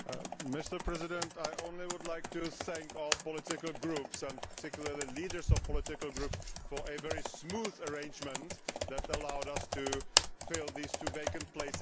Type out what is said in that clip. Mr President, I would just like to thank all the political groups, and particularly the leaders of the political groups, for a very smooth arrangement that allowed us to fill these two vacant places.